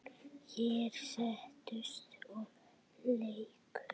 Þeir settust og léku.